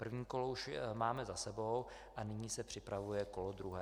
První kolo už máme za sebou a nyní se připravuje kolo druhé.